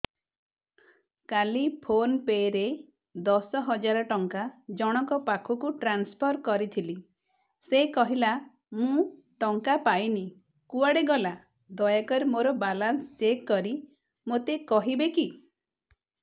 କାଲି PhonePe ରେ ଦଶ ହଜାର ଟଙ୍କା ଜଣକ ପାଖକୁ ଟ୍ରାନ୍ସଫର୍ କରିଥିଲି ସେ କହିଲା ମୁଁ ଟଙ୍କା ପାଇନି କୁଆଡେ ଗଲା ଦୟାକରି ମୋର ବାଲାନ୍ସ ଚେକ୍ କରି ମୋତେ କହିବେ କି